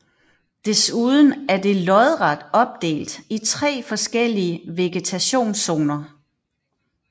Desuden er det lodret opdelt i tre forskellige vegetationszoner